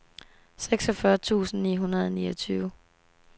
seksogfyrre tusind ni hundrede og niogtyve